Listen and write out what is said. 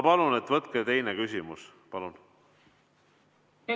Palun võtke teine küsimus!